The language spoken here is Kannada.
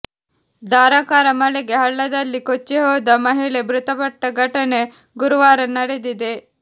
ಧಾರಾಕಾರ ಮಳೆಗೆ ಹಳ್ಳದಲ್ಲಿ ಕೊಚ್ಚಿ ಹೋದ ಮಹಿಳೆ ಮೃತಪಟ್ಟ ಘಟನೆ ಗುರುವಾರ ನಡೆದಿದೆ